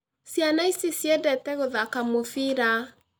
Ciana ici ciendete gũthaka mũbira